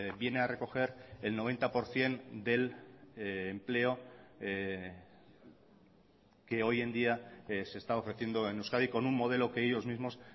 viene a recoger el noventa por ciento del empleo que hoy en día se está ofreciendo en euskadi con un modelo que ellos mismos